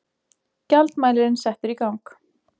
Gjaldmælirinn settur í gang.